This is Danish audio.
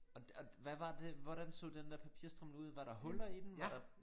Og og hvad var det hvordan så den der papirstrimmel ud var der huller i den var der